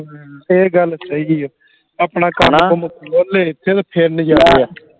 ਹਮ ਇਹ ਗੱਲ ਸਹੀ ਆ ਆਪਣਾ ਕੰਮ ਕੰਮ ਖੋਲ ਲੇ ਇੱਥੇ ਤੇ ਫਿਰ ਨਜਾਰੇ ਆ